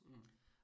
Mh